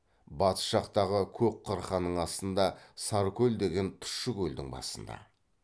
батыс жақтағы көк қырқаның астында саркөл деген тұщы көлдің басында